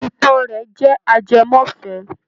Ìtàn rẹ̀ jẹ́ ajẹmọ́fẹ̀ẹ́.